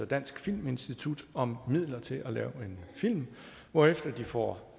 danske filminstitut om midler til at lave en film hvorefter de får